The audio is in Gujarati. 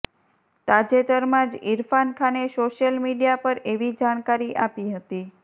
તાજેતરમાં જ ઈરફાન ખાને સોશિયલ મીડિયા પર એવી જાણકારી આપી હતી